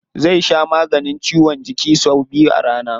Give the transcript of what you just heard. Zai sha maganin ciwon jiki sau biyu a rana.